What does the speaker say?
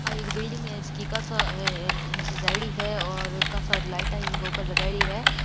आ एक बिलडिंग है जेके काशा सजाई डी है और काशा लाइटा इके ऊपर लगाई डी है।